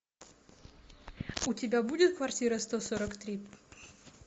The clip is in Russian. у тебя будет квартира сто сорок три